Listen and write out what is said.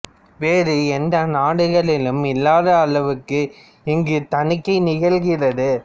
வேறு எந்த நாடுகளிலும் இல்லாத அளவுக்கு இங்கு தணிக்கை நிகழ்கிறது